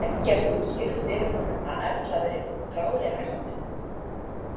Eggert útskýrði fyrir honum að Erla væri í bráðri hættu.